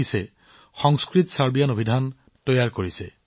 তেওঁ এখন দ্বিভাষিক সংস্কৃতছাৰ্বিয়ান অভিধান বিকশিত কৰিছে